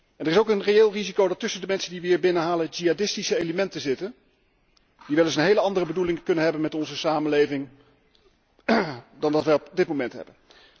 Er is ook een reëel risico dat tussen de mensen die wij hier binnenhalen jihadistische elementen zitten, die wel eens een heel andere bedoeling kunnen hebben met onze samenleving dan wij op dit moment hebben.